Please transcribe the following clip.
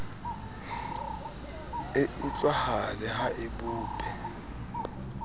e utlwahale ha e bope